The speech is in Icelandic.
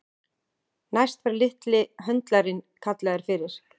Næst var litli höndlarinn kallaður fyrir.